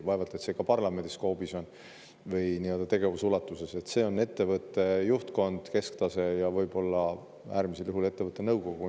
Vaevalt et see ka parlamendi skoobis või nii-öelda tegevusulatuses on, ettevõtte juhtkond, kesktase ja võib-olla äärmisel juhul ettevõtte nõukogu.